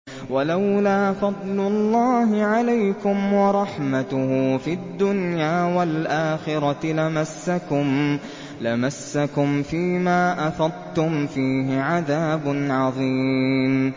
وَلَوْلَا فَضْلُ اللَّهِ عَلَيْكُمْ وَرَحْمَتُهُ فِي الدُّنْيَا وَالْآخِرَةِ لَمَسَّكُمْ فِي مَا أَفَضْتُمْ فِيهِ عَذَابٌ عَظِيمٌ